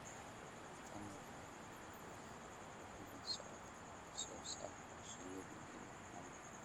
Tan waxaa ka mid ah la socodka wax soo saarka shinnida iyo maamulka